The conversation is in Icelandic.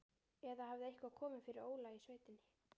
Eða hafði eitthvað komið fyrir Óla í sveitinni?